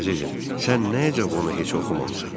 Əzizim, sən niyə cə onu heç oxumamısan?